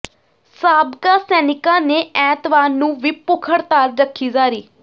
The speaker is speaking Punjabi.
ਸਾਬਕਾ ਸੈਨਿਕਾਂ ਨੇ ਐਤਵਾਰ ਨੂੰ ਵੀ ਭੁੱਖ ਹੜਤਾਲ ਰੱਖੀ ਜਾਰੀ